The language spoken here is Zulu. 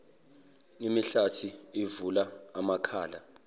imihlathi uvula amakhala